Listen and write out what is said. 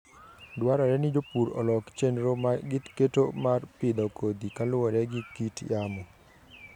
Dwarore ni jopur olok chenro ma giketo mar pidho kodhi kaluwore gi kit yamo.